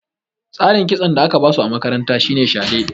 Tsarin kitson da aka ba su a makaranta shi ne shade.